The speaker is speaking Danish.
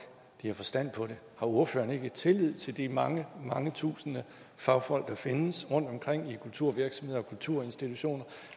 de har forstand på det har ordføreren ikke tillid til at de mange mange tusinde fagfolk der findes rundtomkring i kulturvirksomheder og kulturinstitutioner